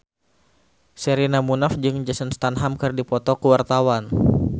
Sherina Munaf jeung Jason Statham keur dipoto ku wartawan